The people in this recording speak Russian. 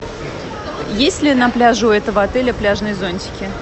есть ли на пляже у этого отеля пляжные зонтики